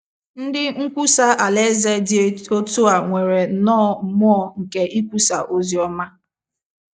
Ndị nkwusa Alaeze dị otú a nwere nnọọ mmụọ nke ikwusa ozi ọma.